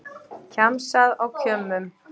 Kjamsað á kjömmum